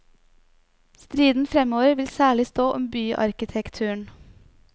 Striden fremover vil særlig stå om byarkitekturen.